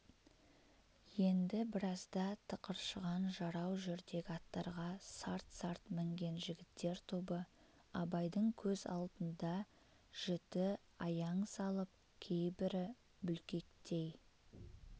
енді біразда тықыршыған жарау жүрдек аттарға сарт-сарт мінген жігіттер тобы абайдың көз алдында жіті аяң салып кейбірі бүлкектей